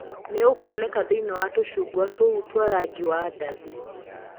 Nĩ ũkuoneka thĩinĩ wa tũcungwa tũu twa rangi wa ndathi.